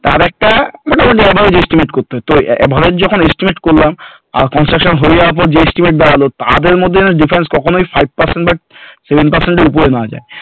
তার একটা মোটামোটি একটা estimate করতে হয় তো average যখন estimate করলাম আর construction হয়ে যাওয়ার পর যে estimate দাঁড়ালো তাদের মধ্যে difference কখনোই যেন five percent বা seven percent এর উপরে না যায়